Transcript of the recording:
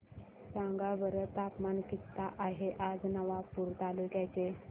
सांगा बरं तापमान किता आहे आज नवापूर तालुक्याचे